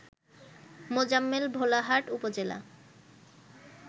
মোজাম্মেল ভোলাহাট উপজেলা